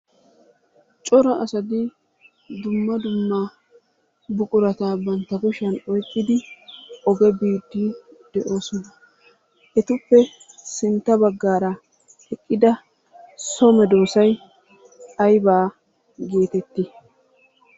Cora asati dumma dumma buqurata bsntta kushiyan oykkidi oge biidi de'oosona. Etuppe sintta baggaara eqqida so medoossay aybaa gettetti?